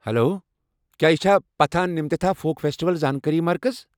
Hello, کیٚا یہِ چھا پتھانہ مِتھِتا فوک فیسٹیول زانكٲری مرکز؟